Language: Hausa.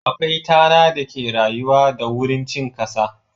Akwai tana da ke rayuwa da wurin cin kasa.